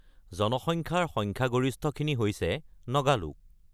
জনসংখ্যাৰ সংখ্যাগৰিষ্ঠখিনি হৈছে নগা লোক।